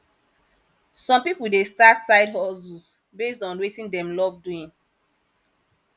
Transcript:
some pipo dey start sidehustles based on wetin dem love doing